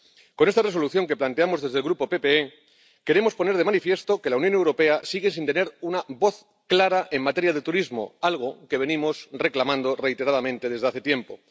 Con esta Resolución que planteamos desde el Grupo PPE, queremos poner de manifiesto que la Unión Europea sigue sin tener una voz clara en materia de turismo, algo que venimos reclamando reiteradamente desde hace tiempo.